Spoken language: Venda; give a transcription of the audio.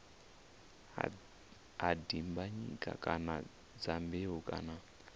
ha dimbanyika kana dyambeu kana